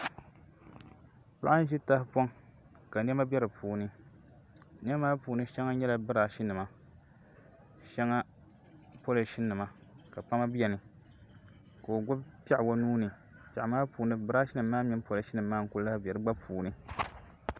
Paɣa n ʒi tahapoŋ ka niɛma bɛ di puuni niɛma maa puuni shɛŋa nyɛla birash nima shɛŋa polish nima ka kpama biɛni ka o gbubi piɛɣu o nuuni piɛɣu maa puuni birash nim maa mini polish nim maa n ku lahi bɛ di gba puuni